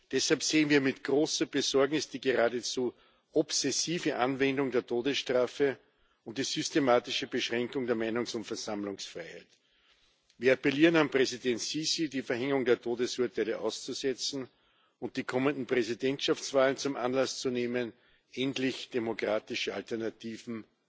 Deshalb sehen wir mit großer Besorgnis die geradezu obsessive Anwendung der Todesstrafe und die systematische Beschränkung der Meinungs und Versammlungsfreiheit. Wir appellieren an Präsident Sisi, die Verhängung der Todesurteile auszusetzen und die kommenden Präsidentschaftswahlen zum Anlass zu nehmen, endlich demokratische Alternativen